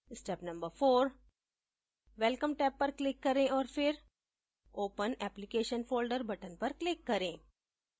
step no 4: welcome tab पर click करें औऱ फिर open application folder बटन पर क्लिक करें